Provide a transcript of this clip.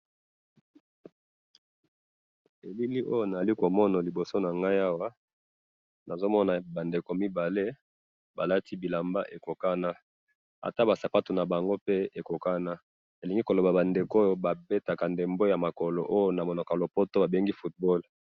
elili oyo nazali komona liboso nangayi awa nazomona ba ndeko mibale balati ba bilamba ekokana na sapatu nabango ekokana babetaka ndeembo oyo ba bengaka na munoko ya lopoto football.